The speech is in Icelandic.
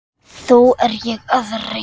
Þó er ég að reyna!